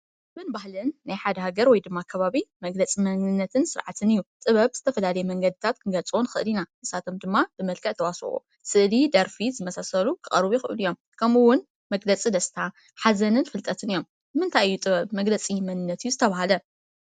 ጥበብ ባህሊን ናይ ሓደ ሃገር ወይድማ ከባቢ መግለፂ መንነት ስርዓትን እዩ፡፡ ጥበብ ብዝተፈላለየ መንገዲታት ክንገልፆ ንክእል ኢና፡፡ ንሳቶም ድማ፡- ብመልክዕ ተዋስኦ፣ ስእሊ፣ ደርፊ ዝመሳሰሉ ክቀርቡ ይክእሉ እዮም፡፡ ከምኡውን መግለፂ ደስታ ሓዘንን ፍልጠትን እዮም፡፡ ንምንታይ እዩ ጥበብ መግለፂ መንነት እዩ ዝተብሃለ?